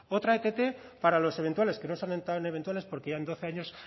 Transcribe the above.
otra ett para los eventuales que no son tan eventuales porque llevan doce años